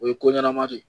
O ye ko ɲɛnama de ye